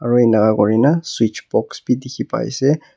aru ening ka kori na switch box bhi dekhi paise.